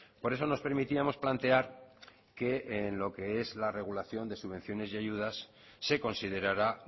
por eso nos permitíamos plantear que en lo que es la regulación de subvenciones y ayudas se considerará